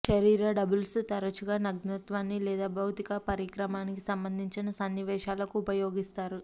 శరీర డబుల్స్ తరచుగా నగ్నత్వాన్ని లేదా భౌతిక పరాక్రమానికి సంబంధించిన సన్నివేశాలకు ఉపయోగిస్తారు